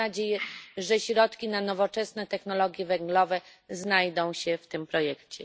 Mam nadzieję, że środki na nowoczesne technologie węglowe znajdą się w tym projekcie.